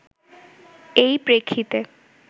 এই প্রেক্ষিতে